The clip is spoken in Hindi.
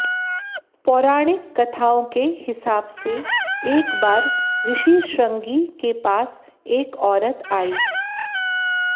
पौराणिक कथाओं के हिसाब से एक बार ऋषि श्रंगी के पास एक औरत आई